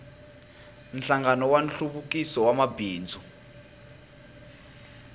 nhlangano wa nhluvukiso wa mabindzu